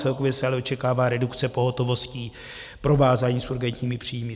Celkově se ale očekává redukce pohotovostí, provázání s urgentními příjmy.